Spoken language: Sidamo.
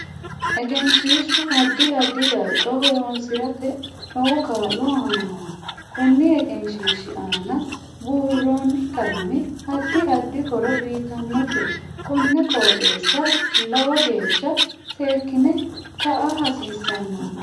Egesnhiishu addi addi darga horoosirate lowo kaa'lo aanoho koni egenshiishi aana buurooni qalame addi addi horo uyiitanote kone qoixeesa liwo geesha seekine ka'a hasiisanonke